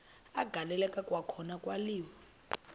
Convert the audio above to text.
agaleleka kwakhona kwaliwa